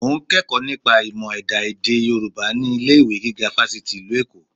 Mo ń kẹ́kọ̀ọ́ nípa ìmọ̀ ẹ̀dá èdè Yorùbá ní ilé-ìwé gíga Fáṣítì ìlú Èkó